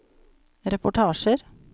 reportasjer